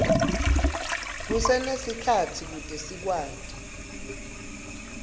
kusenesikhatsi kute sikwati